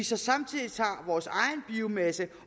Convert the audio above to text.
så samtidig tager vores egen biomasse